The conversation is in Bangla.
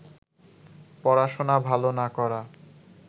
পড়াশোনা ভালো না করা